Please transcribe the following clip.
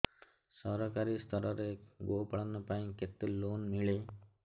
ସରକାରୀ ସ୍ତରରେ ଗୋ ପାଳନ ପାଇଁ କେତେ ଲୋନ୍ ମିଳେ